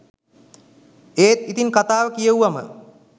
ඒත් ඉතිං කතාව කියෙව්වම